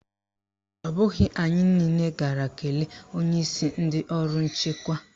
Ọ bụghị anyị niile gara kelee onyeisi ndị ọrụ nchekwa.